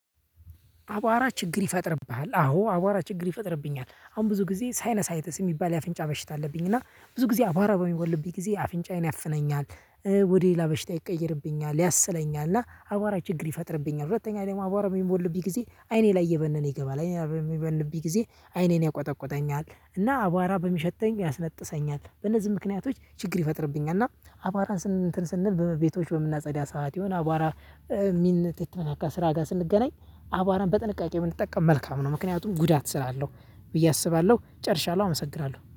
አቧራ ችግር ይፈጥርብሃል አዎ አቧራ ችግር ይፈጥርብኛል አሁን ብዙ ጊዜ ሳይኖሳይተስ የሚባል የአፍንጫ በሽት አለብኝ እና ብዙ ጊዜ አቧራ በሚቦልብኝ ጊዜ አፍንጫዬን ያፍነኛል። ወደ ሌላ በሽታ ይቀይርብኛል ያስለኛል እና አቧራ ችግር ይፈጥርብኛል ሁለተኛ ደግሞ አቧራ በሚቦልብኝ ጊዜ አይኔ ላይ እየበነነ ይገባል አይኔ ላይ በሚቦልብኝ ጊዜ አይኔን ያቆጠቁጠኛል እና አቧራ በሚሸተኝ ያስነጥሰኛል በእነዚህ ምክንያቶች ችግር ይፈጥርብኛል። እና አቧራ እንትን ስንል ቤቶች በምናጸዳ ሰዓት የሆነ አቧራ። ከስራ ጋር ስንገናኝ አቧራን በጥንቃቄ ብንጠቀም መልካም ነው። ምክንያቱም ጉዳት ስላለው ብዬ አስባለሁ ጨርሻለሁ አመሰግራለሁ